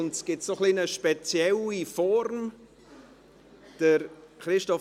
Jetzt gibt es eine etwas spezielle Form der Beratung.